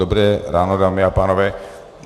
Dobré ráno, dámy a pánové.